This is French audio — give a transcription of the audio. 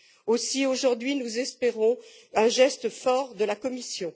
Aussi, aujourd'hui, nous espérons un geste fort de la Commission.